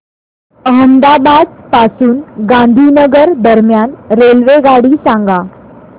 अहमदाबाद पासून गांधीनगर दरम्यान रेल्वेगाडी सांगा